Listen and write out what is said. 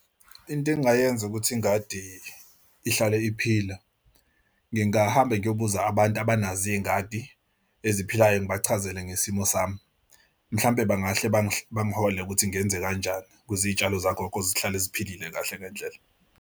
Into engingayenza ukuthi ingadi ihlale iphila ngingahamba ngiyobuza abantu abanazo iy'ngadi eziphilayo, ngibachazele ngesimo sami. Mhlampe bangahle bangiholele ukuthi ngenze kanjani, ukuze iy'tshalo zagogo zihlale ziphilile kahle ngendlela.